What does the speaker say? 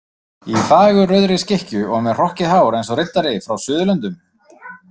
Í fagurrauðri skikkju og með hrokkið hár eins og riddari frá Suðurlöndum.